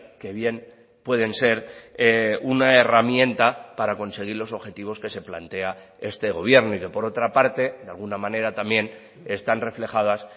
que bien pueden ser una herramienta para conseguir los objetivos que se plantea este gobierno y que por otra parte de alguna manera también están reflejadas